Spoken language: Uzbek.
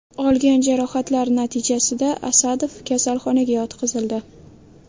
Olgan jarohatlari natijasida Asadov kasalxonaga yotqizildi.